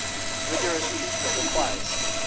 rigorous treatment requires